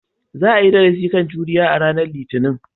Za a yi darasi kan juriya a ranar Litinin.